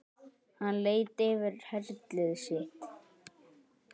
Hann leit yfir herlið sitt.